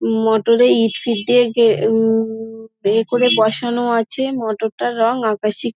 motor - এ ইট fit গে উমঃ ইয়ে করে বসানো আছে মটর -টার রং আকাশি--